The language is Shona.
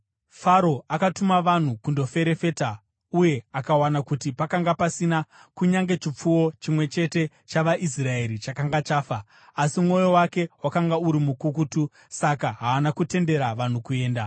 Faro akatuma vanhu kundoferefeta uye akawana kuti pakanga pasina kunyange chipfuwo chimwe chete chavaIsraeri chakanga chafa. Asi mwoyo wake wakanga uri mukukutu saka haana kutendera vanhu kuenda.